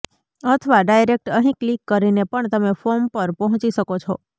અથવા ડાયરેક્ટ અહીં ક્લિક કરીને પણ તમે ફોર્મ પર પહોંચી શકો છો